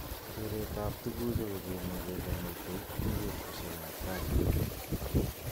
Keret ab tukuju kokimwa kele mitei eng betushek ab tai.